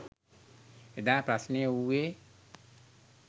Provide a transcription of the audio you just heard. එදා ප්‍රශ්නය වූයේ